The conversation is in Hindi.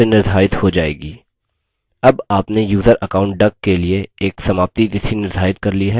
अब आपने यूज़र account duck के लिए एक समाप्ति तिथि निर्धारित कर ली है